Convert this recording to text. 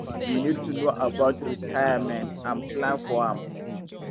we need to know about retirement and plan for am